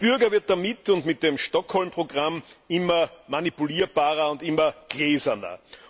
Der Bürger wird damit und mit dem Stockholm Programm immer manipulierbarer und immer gläserner.